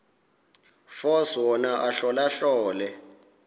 force wona ahlolahlole